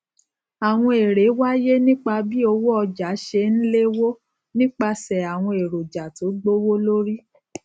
àwọn èrè wáyé nípa bí owó ọjà ṣé n léwó nípasè àwọn èròjà tó gbówó lórí